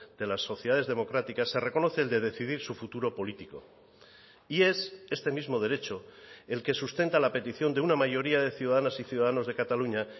de las sociedades democráticas se reconoce el de decidir su futuro político y es este mismo derecho el que sustenta la petición de una mayoría de ciudadanas y ciudadanos de cataluña